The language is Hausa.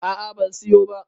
a a ban siyo ba